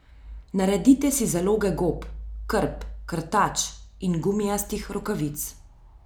Naredite si zalogo gob, krp, krtač in gumijastih rokavic.